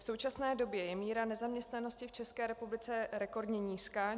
V současné době je míra nezaměstnanosti v České republice rekordně nízká.